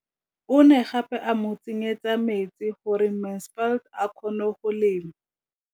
O ne gape a mo tsenyetsa metsi gore Mansfield a kgone go lema.